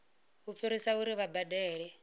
u fhirisa uri vha badele